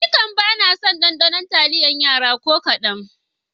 Nikam bana son ɗaɗanon taliyar Yara ko kaɗan.